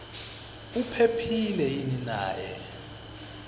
uphephile yini naye